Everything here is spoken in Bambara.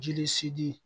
Jeli sidi